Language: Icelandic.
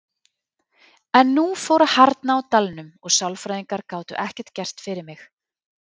En nú fór að harðna á dalnum og sálfræðingar gátu ekkert gert fyrir mig.